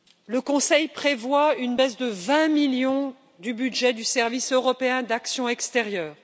Le Conseil prévoit une baisse de 20 millions du budget du Service européen pour l'action extérieure.